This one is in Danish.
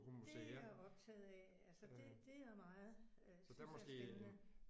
Det er jeg optaget af altså det det er jeg meget synes jeg er spændende